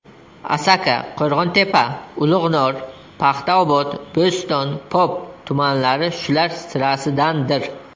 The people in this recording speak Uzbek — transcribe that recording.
Asaka, Qo‘rg‘ontepa, Ulug‘nor, Paxtaobod, Bo‘ston, Pop tumanlari shular sirasidandir.